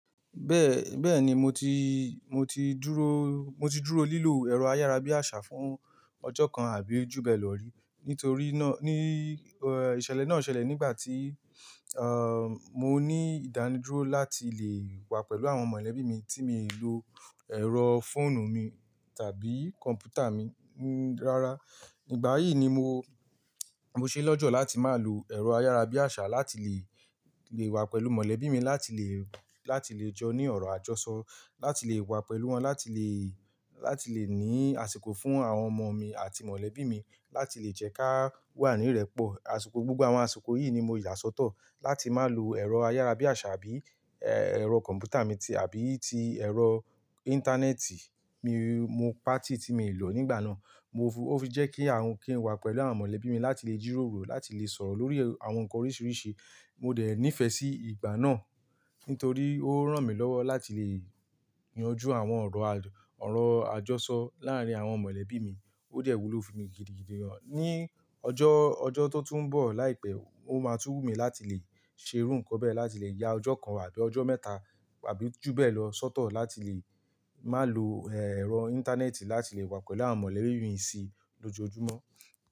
Bẹ́ẹ̀, bẹ́ẹ̀ni mo ti, mo ti dúró, mo ti dúró lílò ẹ̀rọ ayárabíàṣá fún ọjọ́ kan àbí jú bee lọ́ rí. Nítorí náà, ní, eh, ìṣẹ̀lẹ̀ náà ṣẹlẹ̀ nígbà tí, ah, mo ní ìdánidúró láti lè wà pẹ̀lú àwọn mọ̀lẹ́bí mi tí mi ì lò ẹ̀rọ fóònù mi tàbí kọ̀ǹpútà mi. N-rárá, ìgbà yìí ni mo, mo ṣe lọ́jọ́ láti má lò ẹ̀rọ ayárabíàṣá láti lè, lè wà pẹ̀lú mọ̀lẹ́bí mi láti lè, láti lè jọ ní ọ̀rọ̀ àjọṣọ. Láti lè wà pẹ̀lú wọn, láti lè, láti lè ní àsìkò fún àwọn ọmọ mi àti mọ̀lẹ́bí mi. Láti lè jẹ́ ká wà ní ìrẹ́pọ̀. Àsìkò, gbogbo àwọn àsìkò yìí ni mo yà sọ́tọ̀ láti má lò ẹ̀rọ ayárabíàṣá bí, ẹ́, ẹ̀rọ kọ̀ǹpútà mi ti àbí ti ẹ̀rọ íńtánẹ́ẹ̀tì. Mi, mo pa tí tí mii lò nígbà náà. Mo fú-- ó fi jẹ́ kí a ń, kí n wà pẹ̀lú àwọn mọ̀lẹ́bí mi láti lè jíròrò, láti lè sọ̀rọ̀ lórí àwọn nkan oríṣiríṣi. Mo dẹ̀ nífẹ̀ẹ́ sí ìgbà náà, nítorí ó rán mi lọ́wọ́ láti lè yanjú àwọn ọ̀rọ̀, ọ̀rọ̀ àjọṣọ láàárín àwọn mọ̀lẹ́bí mi. Ó dẹ̀ wúlò fún mi gidigidi. Ni ọjọ́, ọjọ́ tó tún bọ̀ láìpẹ́, ó máa tun wu mí láti lè ṣe irú ǹkan bẹ́ẹ̀, láti lè ya ọjọ́ kan àbí ọjọ́ mẹ́ta àbí jú beẹ̀ lọ sọ́tọ̀ láti lè má lò, ẹ́, ẹ̀rọ íńtánẹ́ẹ̀tì láti lè wà pẹ̀lú àwọn mọ̀lẹ́bí mi sí lójoojúmọ́.